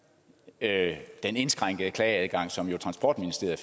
at kunne den indskrænkede klageadgang som transportministeriet